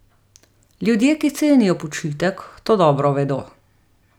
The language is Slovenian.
Ljudje, ki cenijo počitek, to dobro vedo.